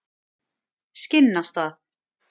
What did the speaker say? Skinnastað